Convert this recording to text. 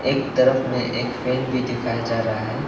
एक तरफ में एक फैन भी दिखाया जा रहा है।